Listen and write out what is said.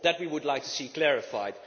That we would like to see clarified.